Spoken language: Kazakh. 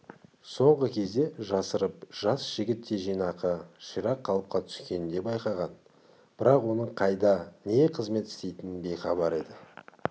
соңғы кезде жасырып жас жігіттей жинақы ширақ қалыпқа түскенін де байқаған бірақ оның қайда не қызмет істейтінінен бейхабар еді